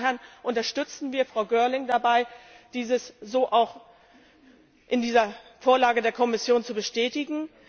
Von daher unterstützen wir Frau Girling dabei, dieses so auch in dieser Vorlage der Kommission zu bestätigen.